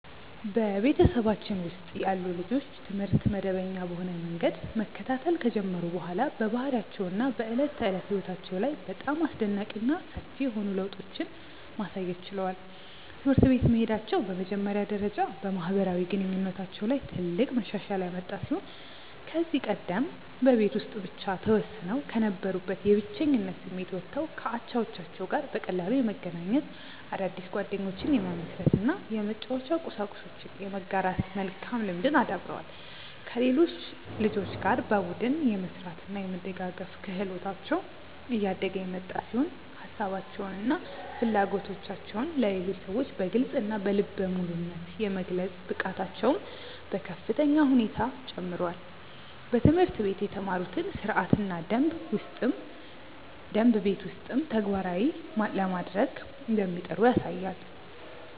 በቤተሰባችን ውስጥ ያሉ ልጆች ትምህርት መደበኛ በሆነ መንገድ መከታተል ከጀመሩ በኋላ በባህሪያቸው እና በዕለት ተዕለት ሕይወታቸው ላይ በጣም አስደናቂ እና ሰፊ የሆኑ ለውጦችን ማሳየት ችለዋል። ትምህርት ቤት መሄዳቸው በመጀመሪያ ደረጃ በማህበራዊ ግንኙነታቸው ላይ ትልቅ መሻሻል ያመጣ ሲሆን ከዚህ ቀደም በቤት ውስጥ ብቻ ተወስነው ከነበሩበት የብቸኝነት ስሜት ወጥተው ከአቻዎቻቸው ጋር በቀላሉ የመገናኘት፣ አዳዲስ ጓደኞችን የመመስረት እና የመጫወቻ ቁሳቁሶችን የመጋራት መልካም ልምድን አዳብረዋል። ከሌሎች ልጆች ጋር በቡድን የመስራት እና የመደጋገፍ ክህሎታቸው እያደገ የመጣ ሲሆን ሀሳባቸውን እና ፍላጎቶቻቸውን ለሌሎች ሰዎች በግልፅ እና በልበ ሙሉነት የመግለጽ ብቃታቸውም በከፍተኛ ሁኔታ ጨምሯል። በትምህርት ቤት የተማሩትን ሥርዓትና ደንብ ቤት ውስጥም ተግባራዊ ለማድረግ እንደሚጥሩ ያሳያል።